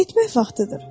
Getmək vaxtıdır.